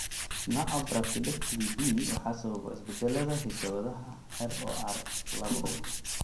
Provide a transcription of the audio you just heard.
Nooca Brachydactyly B waxaa sababa isbeddellada hidda-wadaha ROR labo.